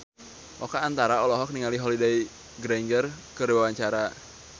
Oka Antara olohok ningali Holliday Grainger keur diwawancara